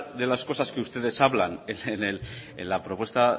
de las cosas que ustedes hablan en la propuesta